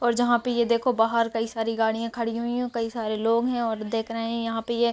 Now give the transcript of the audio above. और जहाँ पे ये देखो बाहर कई सारी गाड़ियाँ खड़ी हुई है और कई सारे लोग है और देख रहे है यहाँ पे ये --